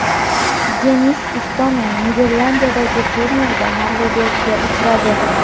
Denis Istomin Niderlandiyadagi turnirda mag‘lubiyatga uchradi.